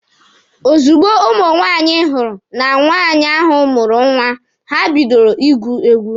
Ozugbo ụmụ nwaanyị hụrụ na nwaanyị ahụ mụrụ nwa, ha bidoro ịgụ egwu.